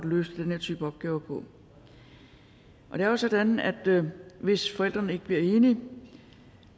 løse den her type opgave på det er jo sådan at hvis forældrene ikke bliver enige